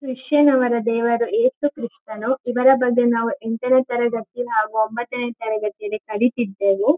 ಕ್ರಿಶ್ಚನ ಅವರ ದೇವಾಲಯ ಯೇಸು ಕ್ರಿಸ್ತನು ಇವರ ಬಗ್ಗೆ ನಾವು ಎಂಟನೆಯ ತರಗತಿಯಲ್ಲಿ ಹಾಗು ಒಂಬತ್ತನೇ ತರಗತಿಯಲ್ಲಿ ಕಲಿತ್ತಿದ್ದೆವು.